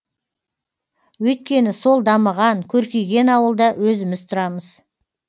өйткені сол дамыған көркейген ауылда өзіміз тұрамыз